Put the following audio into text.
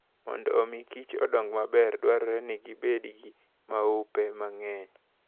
Mondo omi kich odong maber, dwarore ni gibed gi maupe mang'eny.